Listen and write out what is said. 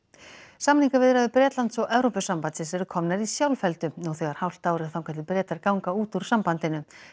samningaviðræður Bretlands og Evrópusambandsins eru komnar í sjálfheldu nú þegar hálft ár er þangað til Bretar ganga út úr sambandinu